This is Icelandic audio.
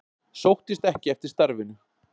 Sóttist ekki eftir starfinu